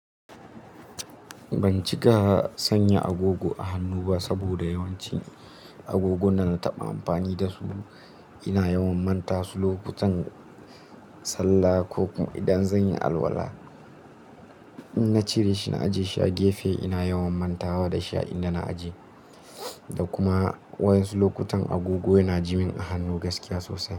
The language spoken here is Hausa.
Ban cika sanya agogo a hannu ba saboda yawancin agogunan da na taɓa amfani da su. Ina yawan manta su lokutan sallah ko kuma idan zan yi alwala. In na cire shi na ajiye shi a gefe, ina yawan mantawa da shi inda na aje. Da kuma wa'yan su lokutan agogo yana ji min a hannu gaskiya sosai.